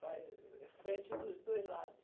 Faz eh, frente dos dois lados.